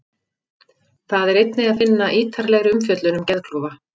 Þar er einnig að finna ítarlegri umfjöllun um geðklofa.